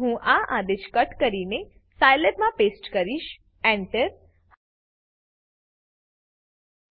હું આ આદેશ કટ કરીને સાયલેબ માં પેસ્ટ કરીશ enter